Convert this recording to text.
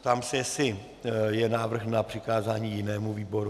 Ptám se, jestli je návrh na přikázání jinému výboru.